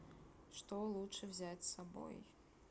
что лучше взять с собой